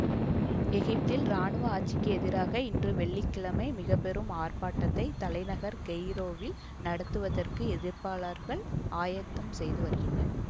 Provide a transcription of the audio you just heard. எகிப்தில் இராணுவ ஆட்சிக்கு எதிராக இன்று வெள்ளி கிழமை மிக பெரும் ஆர்ப்பாட்டத்தை தலைநகர் கெய்ரோவில் நடத்துவதற்கு எதிர்ப்பாளர்கள் ஆயத்தம் செய்து வருகின்றனர்